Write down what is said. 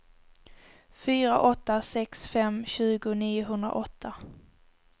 fyra åtta sex fem tjugo niohundraåtta